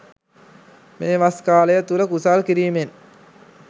මේ වස් කාලය තුල කුසල් කිරීමෙන්